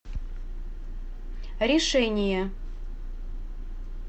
решение